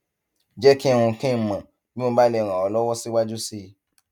jẹ kí n kí n mọ bí mo bá lè ràn ọ lọwọ síwájú sí i